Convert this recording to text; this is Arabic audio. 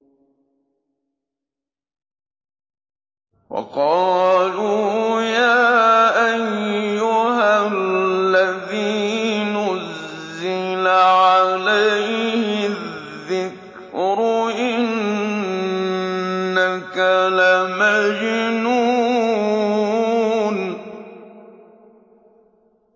وَقَالُوا يَا أَيُّهَا الَّذِي نُزِّلَ عَلَيْهِ الذِّكْرُ إِنَّكَ لَمَجْنُونٌ